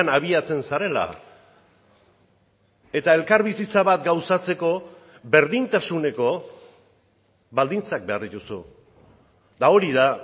abiatzen zarela eta elkarbizitza bat gauzatzeko berdintasuneko baldintzak behar dituzu eta hori da